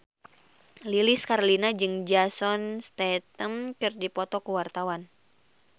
Lilis Karlina jeung Jason Statham keur dipoto ku wartawan